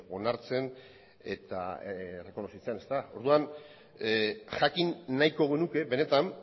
onartzen eta errekonozitzen orduan jakin nahiko genuke benetan